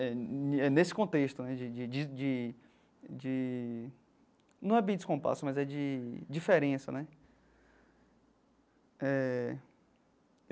É e é nesse contexto né de de de de... de não é bem descompasso, mas é de diferença né eh.